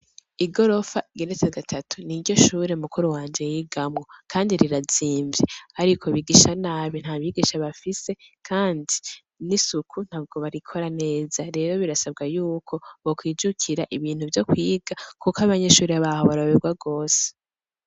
Igorofa igeretse gatatu niryo shure mukuru wanje yigamwo kandi rirazimvye ariko bigisha nabi nta bigisha bafise kandi n'isuku ntabwo barikora neza rero birasabwa y'uko bo kwijukira ibintu vyo kwiga kuko abanyeshuri baho baroyoberwa gose.